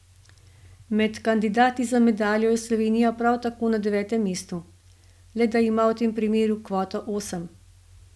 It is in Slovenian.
Med kandidati za medaljo je Slovenija prav tako na devetem mestu, le da ima v tem primeru kvoto osem.